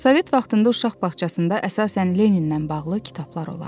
Sovet vaxtında uşaq bağçasında əsasən Lenindən bağlı kitablar olardı.